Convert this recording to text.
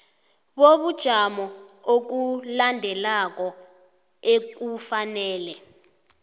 bobujamo obulandelako ekufanele